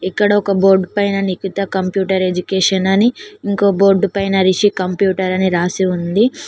ఇక్కడ ఒక బోర్డ్ పైన నికిత కంప్యూటర్ ఎడ్యుకేషన్ అని ఇంకో బోర్డు పైన రిషి కంప్యూటర్ అని రాసి ఉంది.